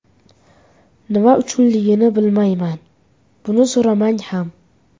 Nima uchunligini bilmayman, buni so‘ramang ham.